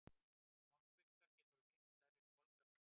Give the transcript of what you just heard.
Smokkfiskar geta orðið miklu stærri en kolkrabbar.